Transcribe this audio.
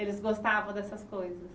Eles gostavam dessas coisas?